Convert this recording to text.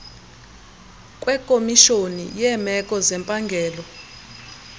kwekomishoni yeemeko zempangelo